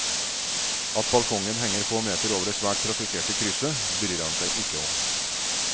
At balkongen henger få meter over det svært trafikkerte krysset, bryr han seg ikke om.